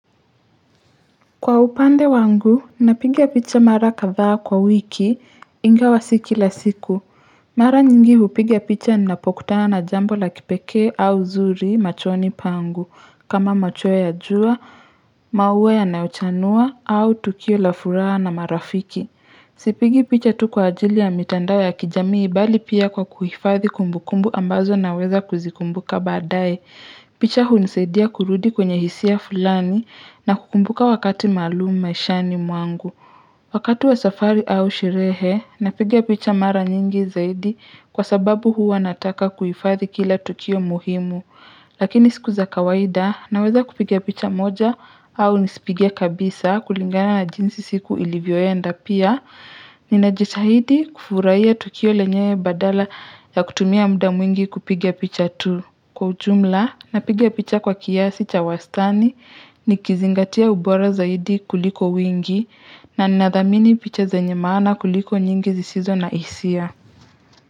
Kwa upande wangu, napiga picha mara kadhaa kwa wiki ingawa si kila siku. Mara nyingi hupiga picha ninapokutana na jambo la kipekee au zuri machoni pangu kama machweo ya jua, mauwa yanayochanua au tukio la furaha na marafiki. Sipigi picha tu kwa ajili ya mitandao ya kijamii bali pia kwa kuhifadhi kumbukumbu ambazo naweza kuzikumbuka badaye. Picha hunisaidia kurudi kwenye hisia fulani na kukumbuka wakati maluum maishani mwangu. Wakati wa safari au sherehe napiga picha mara nyingi zaidi kwa sababu hua nataka kuifadhi kila tukio muhimu. Lakini siku za kawaida naweza kupiga picha moja au nisipige kabisa kulingana na jinsi siku ilivyoenda pia. Ninajitahidi kufuraia tukio lenyewe badala ya kutumia muda mwingi kupiga picha tu. Kwa ujumla napiga picha kwa kiasi cha wastani nikizingatia ubora zaidi kuliko wingi na nathamini picha zenye maana kuliko nyingi zisizo na hisia.